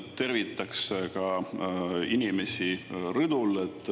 Tervitan ka inimesi rõdul.